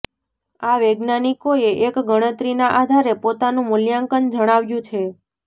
આ વૈજ્ઞાનિકોએ એક ગણતરીના આધારે પોતાનું મૂલ્યાંકન જણાવ્યું છે